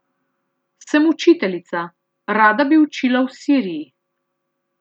Sem učiteljica, rada bi učila v Siriji.